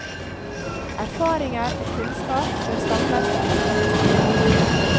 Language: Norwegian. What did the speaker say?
Erfaringer og kunnskap bør samles og utvikles videre.